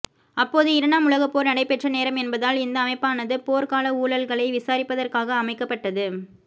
அப்போது இரண்டாம் உலகப் போர் நடைபெற்ற நேரம் என்பதால் இந்த அமைப்பானது போர் கால ஊழல்களை விசாரிப்பதற்காக அமைக்கப்பட்டது